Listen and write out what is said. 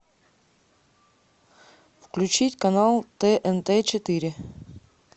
включить канал тнт четыре